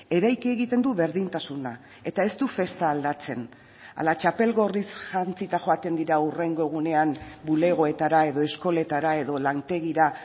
eraiki egiten du berdintasuna eta ez du festa aldatzen ala txapel gorriz jantzita joaten dira hurrengo egunean bulegoetara edo eskoletara edo lantegira